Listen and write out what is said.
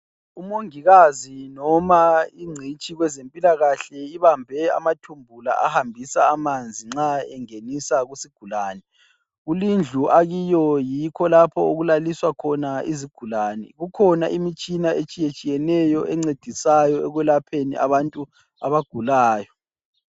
Umongikazi noma ingcitshi kwezempilakahle ibambe amathumbu la ahambisa amanzi nxa engenisa kuzigulani. Kulindlu akiyo yikho lapho okulaliswa khona izigulani. Kukhona imitshina etshiyetshiyeneyo encedisayo ekwelapheni abantu abagulayo.